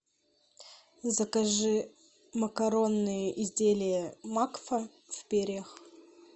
закажи макаронные изделия макфа в перьях